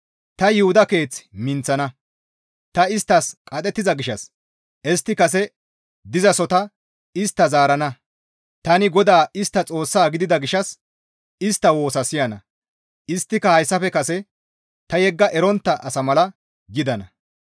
«Tani Yuhuda keeth minththana; ta isttas qadhettiza gishshas istti kase dizasota istta zaarana; tani GODAA istta Xoossa gidida gishshas ta istta woosa siyana; isttika hayssafe kase ta yegga erontta asa mala gidana.